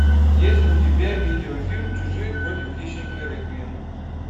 есть ли у тебя видеофильм чужие против хищника реквием